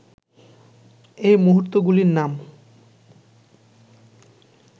এই মূর্তিগুলির নাম